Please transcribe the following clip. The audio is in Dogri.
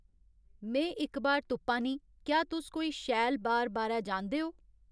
में इक बार तुप्पा नीं क्या तुस कोई शैल बार बारै जानदे ओ